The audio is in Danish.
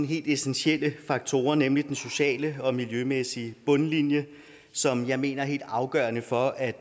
helt essentielle faktorer nemlig den sociale og miljømæssige bundlinje som jeg mener er helt afgørende for at